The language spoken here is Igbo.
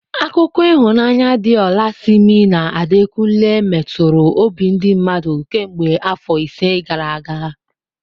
Akụkọ ịhụnanya di ola Simi na Adekunle meturu obi ndi mmadu kemgbe afọ ise gara aga.